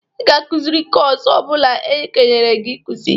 Ị ga-akụzị kọs ọ bụla ekenyere gi ịkụzị!